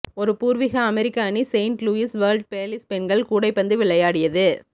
ஒரு பூர்வீக அமெரிக்க அணி செயின்ட் லூயிஸ் வேர்ல்ட் ஃபேஸில் பெண்கள் கூடைப்பந்து விளையாடியது